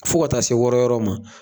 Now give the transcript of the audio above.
Fɔ ka taa se wɔrɔ yɔrɔ ma.